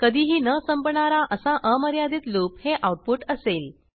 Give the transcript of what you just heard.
कधीही न संपणारा असा अमर्यादित लूप हे आऊटपुट असेल